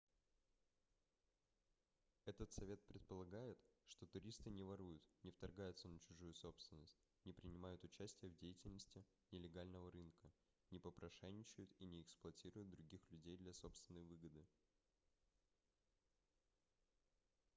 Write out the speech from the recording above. этот совет предполагает что туристы не воруют не вторгаются на чужую собственность не принимают участие в деятельности нелегального рынка не попрошайничают и не эксплуатируют других людей для собственной выгоды